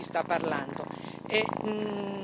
Non concordo con il collega Rangel.